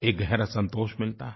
एक गहरा संतोष मिलता है